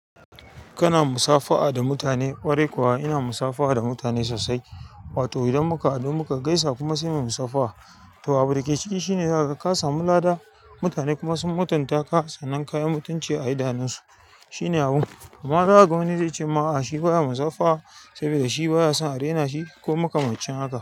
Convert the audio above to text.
Kana musafaha da mutane? Ƙwarai kuwa ina musafaha da mutane so. Wato idan muka haɗu muka gaisa kuma sai mu musafaha. To abu dake ciki shine zaka ga ka samu lada, mutane kuma sun mutunta ka sannan kayi mutunci a idanun su. Shine abu. Kuma za a ga wani zai ce ma a'a shi baya musafaha saboda shi baya son a rena shi ko muka ma cin haka.